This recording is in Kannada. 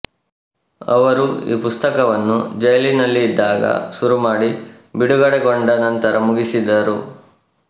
ಅವರು ಈ ಪುಸ್ತಕವನ್ನು ಜೈಲಿನಲ್ಲಿದ್ದಾಗ ಶುರುಮಾಡಿ ಬಿಡುಗಡೆಗೊಂಡ ನಂತರ ಮುಗಿಸಿದರು